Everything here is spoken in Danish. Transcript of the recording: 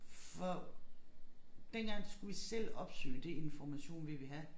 For dengang skulle vi selv opsøge det information vi ville have